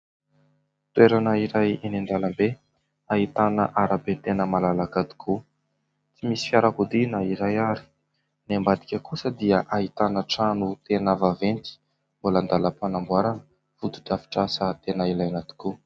Toerana iray eny an-dalambe ahitana arabe tena malalaka tokoa. Tsy misy fiarakodia na iray ary. Ny ambadika kosa dia ahitana trano tena vaventy mbola andalam-panamboarana : foto-drafitrasa tena ilaina tokoa.